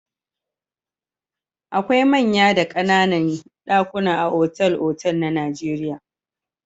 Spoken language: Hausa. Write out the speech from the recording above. Akwai manya da ƙananan ɗakuna a otal-otal na Najeriya.